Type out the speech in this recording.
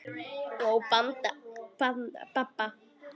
Og Badda.